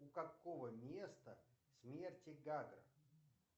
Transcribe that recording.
у какого места смерти гагра